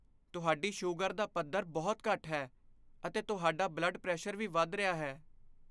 ਤੁਹਾਡੀ ਸ਼ੂਗਰ ਦਾ ਪੱਧਰ ਬਹੁਤ ਘੱਟ ਹੈ, ਅਤੇ ਤੁਹਾਡਾ ਬਲੱਡ ਪ੍ਰੈਸ਼ਰ ਵੀ ਵੱਧ ਰਿਹਾ ਹੈ।